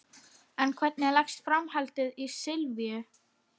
En hvernig leggst framhaldið í Silvíu?